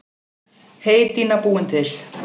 Heydýna búin til.